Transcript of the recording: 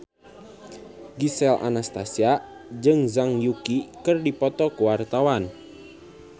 Gisel Anastasia jeung Zhang Yuqi keur dipoto ku wartawan